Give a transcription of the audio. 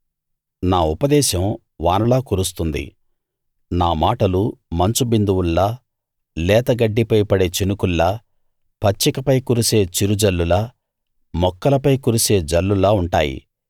నా ఉపదేశం వానలా కురుస్తుంది నా మాటలు మంచు బిందువుల్లా లేతగడ్డిపై పడే చినుకుల్లా పచ్చికపై కురిసే చిరుజల్లులా మొక్కలపై కురిసే జల్లులా ఉంటాయి